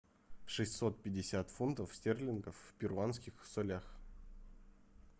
шестьсот пятьдесят фунтов стерлингов в перуанских солях